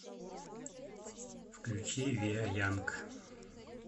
включи ви а янг